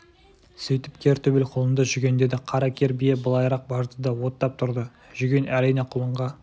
сөйтіп кер төбел құлынды жүгендеді қара кер бие былайырақ барды да оттап тұрды жүген әрине құлынға